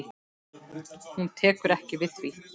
Hún tekur ekki við því.